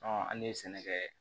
an ne ye sɛnɛkɛ